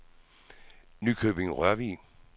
Nykøbing-Rørvig